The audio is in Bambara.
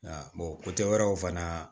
wɛrɛw fana